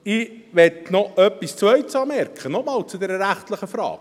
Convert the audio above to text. Ich möchte noch etwas Zweites anmerken, noch einmal zu dieser rechtlichen Frage: